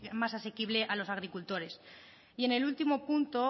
más asequible a los agricultores y en el último punto